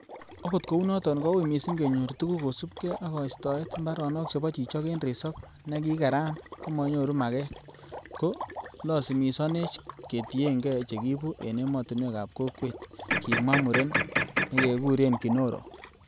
'Okot kounoton kou missing kenyor tuguk kosiibge ak koistoet, mbaronok chebo chichok en resop nekikeran komonyoru maget, ko losimisonech ketienge chekiibu en emotinwek ab kokwet,'' kimwa muren nekekurenKinoro.